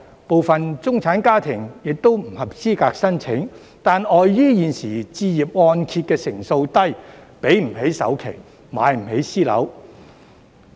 部分中產家庭亦不合資格申請，但礙於現時置業按揭成數低，給不起首期，買不起私樓。